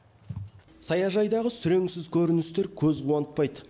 саяжайдағы сүреңсіз көріністер көз қуантпайды